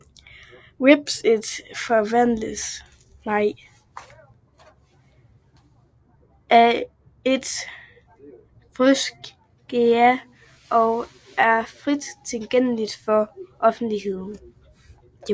Webstedet forvaltes af It Fryske Gea og er frit tilgængeligt for offentligheden